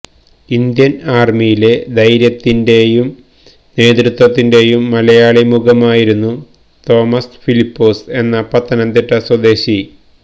Indian ആർമിയിലെ ധൈര്യത്തിന്റെയും നേതൃത്വത്തിന്റെയും മലയാളി മുഖമായിരുന്നു തോമസ് ഫിലിപ്പോസ് എന്ന പത്തനംതിട്ട സ്വദേശി